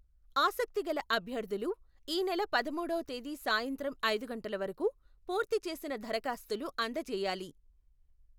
ఆసక్తిగల అభ్యర్థులు, ఈనెల పదమూడవ తేదీ సాయంత్రం ఐదు గంటల వరకు, పూర్తి చేసిన దరఖాస్తులు అందజేయాలి.